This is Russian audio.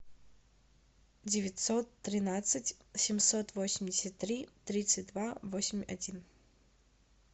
девятьсот тринадцать семьсот восемьдесят три тридцать два восемь один